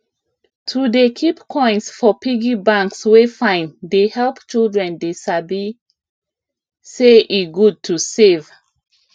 to dey keep coins for piggy banks wey fine dey help children dey sabi say e good to save